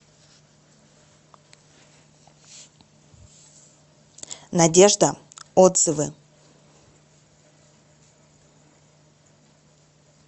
надежда отзывы